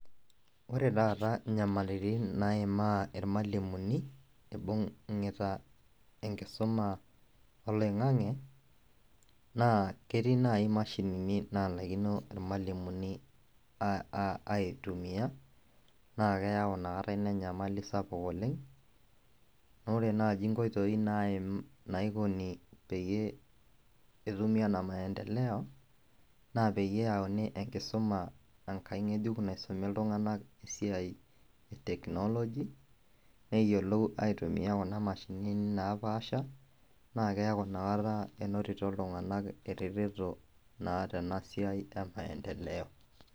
Ore taata nyamalitin naimaa irmalimulini ibungita enkisuma oloingangi na ketii nai imashinini nalakino irmalimulini alitumia nakeyai inakata enyamali sapuk oleng, amu re nai nkoitoi naikoni peyie etumi enamaendeleo na peyauni enkisuma enkai ngejuk naisumi ltunganak esiai e technology neyiolou aitumia kunabmashinini naapasha nakeaku inakata inototo ltunganak eretoto naa tenasiai e maendeleo.